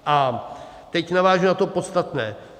A teď navážu na to podstatné.